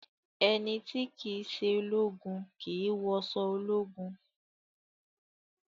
Ẹni tí kìí ṣe ológun kìí wọṣọ ológun